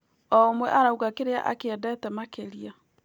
O ũmwe arauga kĩrĩa akĩendete makĩria.